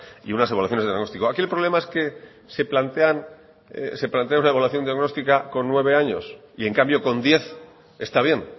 y unas evaluaciones de diagnóstico aquí el problema que plantean una evaluación diagnóstica con nueve años y en cambio con diez está bien